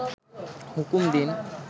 হুকুম দিন